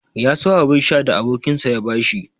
Ya so abun sha da abokinsa ya bashi.